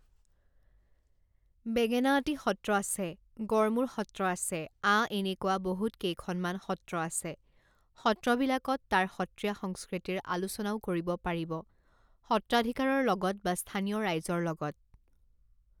বেঙেনাআটী সত্ৰ আছে, গড়মূৰ সত্ৰ আছে আ এনেকুৱা বহুত কেইখন সত্ৰ আছে, সত্ৰবিলাকত তাৰ সত্ৰীয়া সংস্কৃতিৰ আলোচনাও কৰিব পাৰিব সত্ৰাধিকাৰৰ লগত বা স্থানীয় ৰাইজৰ লগত